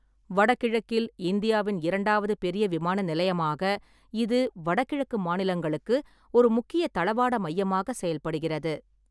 வடகிழக்கில் இந்தியாவின் இரண்டாவது பெரிய விமான நிலையமாக, இது வடகிழக்கு மாநிலங்களுக்கு ஒரு முக்கிய தளவாட மையமாக செயல்படுகிறது.